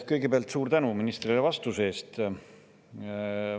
Kõigepealt suur tänu ministrile vastuse eest.